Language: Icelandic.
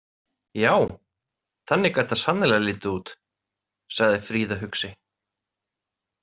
Ja, þannig gat þetta sannarlega litið út, sagði Fríða hugsi.